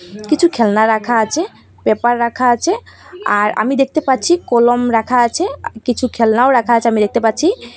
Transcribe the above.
কিছু খেলনা রাখা আছে পেপার রাখা আছে আর আমি দেখতে পাচ্ছি কলম রাখা আছে আ কিছু খেলনাও রাখা আছে আমি দেখতে পাচ্ছি।